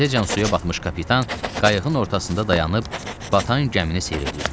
Dizəcən suya batmış kapitan qayığın ortasında dayanıb batan gəmini seyr eləyirdi.